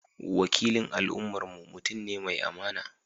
Wakilin al’ummarmu mutum ne mai amana.